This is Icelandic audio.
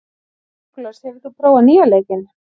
Nikolas, hefur þú prófað nýja leikinn?